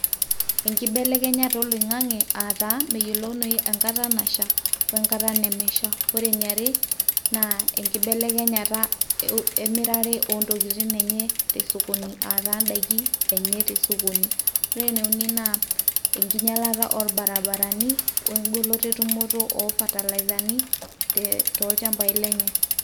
enkibelekenyata oloing'ang'e aataa meyiolounoi enkata nasha wenkata nemesha wore eniare naa enkibelekenyata emirare oontokitin enye tesokoni aataa indaiki enye tesokoni, ore ene uni naa enkinyialata orbarabarani wengoloto etumoto oo fatalaizani toolchambai lenye.